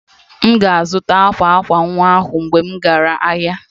M ga-azụta akwa akwa nwa ahụ mgbe m gara ahịa